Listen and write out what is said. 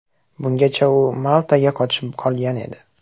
Bungacha u Maltaga qochib qolgan edi.